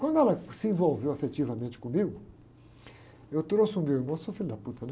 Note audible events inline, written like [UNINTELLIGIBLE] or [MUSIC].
Quando ela se envolveu afetivamente comigo, eu trouxe o meu irmão, sou filho da, [UNINTELLIGIBLE] né?